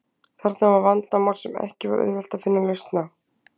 Þarna var vandamál sem ekki var auðvelt að finna lausn á.